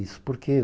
Isso por quê?